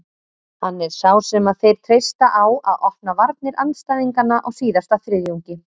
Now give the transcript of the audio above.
Hann er sá sem að þeir treysta á að opna varnir andstæðinganna á síðasta þriðjungi.